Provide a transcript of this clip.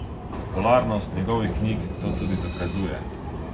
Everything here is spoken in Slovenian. Popularnost njegovih knjig to tudi dokazuje.